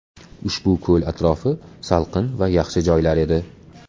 Ushbu ko‘l atrofi salqin va yaxshi joylar edi.